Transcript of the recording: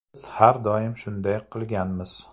Biz har doim shunday qilganmiz.